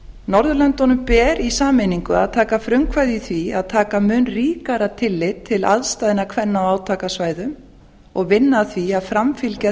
norðurlöndunum ber í sameiningu að taka frumkvæði í því að taka mun ríkara tillit til aðstæðna kvenna á átakasvæðum og vinna að því að framfylgja